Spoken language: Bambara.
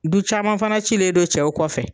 Du caman fana cilen don cɛw kɔfɛ.